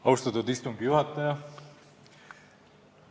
Austatud istungi juhataja!